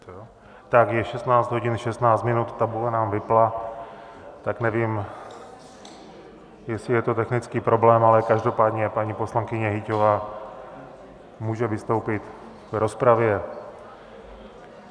Tak je 16 hodin 16 minut, tabule nám vypnula, tak nevím, jestli je to technický problém , ale každopádně paní poslankyně Hyťhová může vystoupit v rozpravě.